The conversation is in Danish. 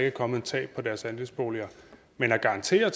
er kommet et tab på deres andelsboliger men at garantere